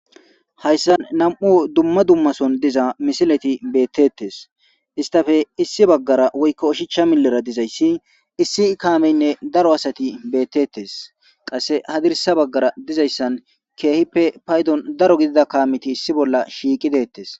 hayssan nam'u dumma dummason diza misileti beettettes istafe issi baggara woykko ushicha milera dizayssi issi kaameynne daro asati beettettes qasse hadirsa baggara dizayssan keehippe paydon daro gidida kaamiti issi bolla shiiqi deettes